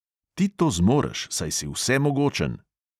Ti to zmoreš, saj si vsemogočen.